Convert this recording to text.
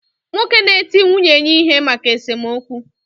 Nwoke na eti nwunye ya ihe maka esomokwu.